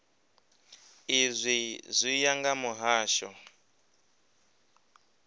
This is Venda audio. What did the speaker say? izwi zwi ya nga mihasho